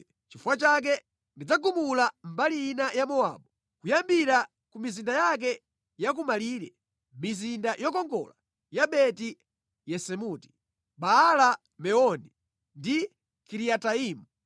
Nʼchifukwa chake ndidzagumula mbali ina ya Mowabu, kuyambira ku mizinda yake ya kumalire; mizinda yokongola ya Beti-Yesimoti, Baala-Meoni ndi Kiriataimu.